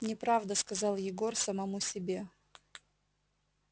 неправда сказал егор самому себе